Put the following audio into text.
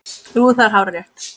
Jú, það er hárrétt